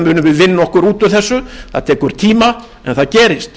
vinna okkur út úr þessu það tekur tíma en það gerist